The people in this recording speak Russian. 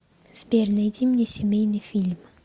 сбер найди мне семейный фильм